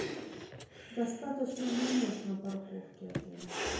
достаточно ли мест на парковке отеля